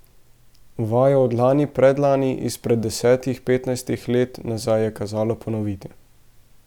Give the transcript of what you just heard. Vajo od lani, predlani, izpred desetih, petnajstih let nazaj je kazalo ponoviti.